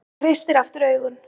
Hann kreistir aftur augun.